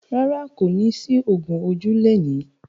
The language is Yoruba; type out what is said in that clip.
Rárá, kò ní sí ògún ojú lẹni.